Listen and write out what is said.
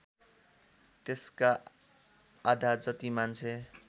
त्यसका आधाजति मान्छे